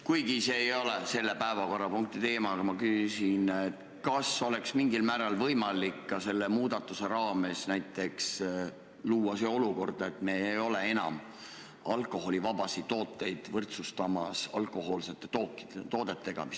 Kuigi see ei ole selle päevakorrapunkti teema, küsin ma, kas oleks mingil määral võimalik ka selle muudatuse raames näiteks luua see olukord, et me ei võrdsusta enam alkoholivabasid tooteid alkohoolsete toodetega.